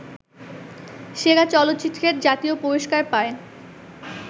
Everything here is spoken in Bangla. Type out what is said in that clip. সেরা চলচ্চিত্রের জাতীয় পুরস্কার পায়